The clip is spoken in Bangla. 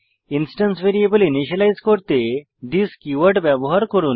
ইন্সট্যান্স ভ্যারিয়েবল ইনিসিয়েলাইজ করতে থিস কীওয়ার্ড ব্যবহার করুন